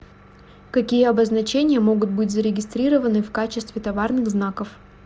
какие обозначения могут быть зарегистрированы в качестве товарных знаков